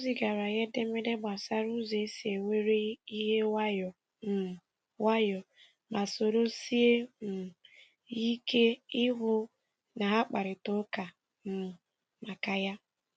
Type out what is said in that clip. O zigara ya edemede gbasara ụzọ esi e were ihe nwayọọ um nwayọọ, ma soro sie um ya ike ịhụ na ha kparịta ụka um maka ya.